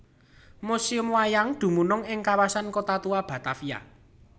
Museum Wayang dumunung ing Kawasan Kota Tua Batavia